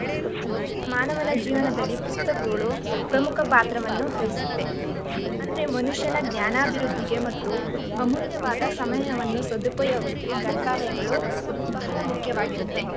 ಮಾನವನ ಜೀವನದಲ್ಲಿ ಪುಸ್ತಕಗಳು ಪ್ರಮುಖ ಪಾತ್ರವನ್ನು ವಹಿಸುತ್ತೆ ಅಂದ್ರೆ ಮನುಷ್ಯನ ಜ್ಞಾನಾಭಿವೃದ್ಧಿಗೆ ಮತ್ತು ಅಮೂಲ್ಯವಾದ ಸಮಯವನ್ನು ಸದುಪಯೋಗಕ್ಕೆ ಗ್ರಂಥಾಲಯಗಳು ಬಹಳ ಮುಖ್ಯವಾಗಿರುತ್ತೆ.